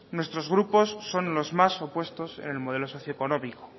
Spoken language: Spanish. nuestros grupos son los más opuestos en el modelo socioeconómico